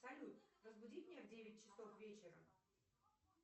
салют разбуди меня в девять часов вечера